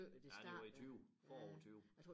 Nej det var i 20 foråret 20